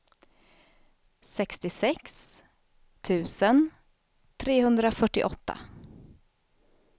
sextiosex tusen trehundrafyrtioåtta